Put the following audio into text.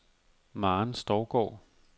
Maren Stougaard